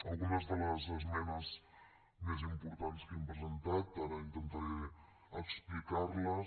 algunes de les esmenes més importants que hem presentat ara intentaré explicar les